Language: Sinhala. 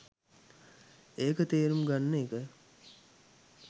ඒක තේරුම් ගන්න එක